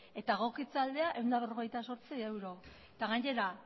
eta egokitze aldea ehun eta berrogeita zortzi euro eta gainera